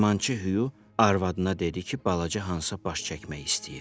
Dəyirmançı Hüyo arvadına dedi ki, balaca Hansa baş çəkmək istəyir.